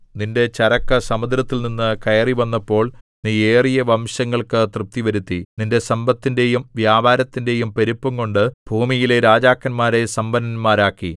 നിന്റെ ചരക്ക് സമുദ്രത്തിൽനിന്നു കയറിവന്നപ്പോൾ നീ ഏറിയ വംശങ്ങൾക്കു തൃപ്തിവരുത്തി നിന്റെ സമ്പത്തിന്റെയും വ്യാപാരത്തിന്റെയും പെരുപ്പംകൊണ്ട് ഭൂമിയിലെ രാജാക്കന്മാരെ സമ്പന്നന്മാരാക്കി